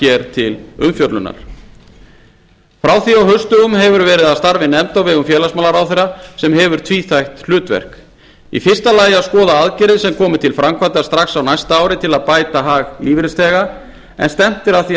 hér til umfjöllunar frá því á haustdögum hefur verið að starfi nefnd á vegum félagsmálaráðherra sem hefur tvíþætt hlutverk í fyrsta lagi að skoða aðgerðir sem komi til framkvæmda strax á næsta ári til að bæta hag lífeyrisþega en stefnt er að því